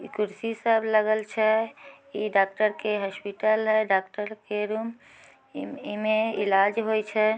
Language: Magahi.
ई कुर्सी सब लगल छै। इ डॉक्टर के हॉस्पिटल है। डॉक्टर के रूम इमे इलाज होय छै।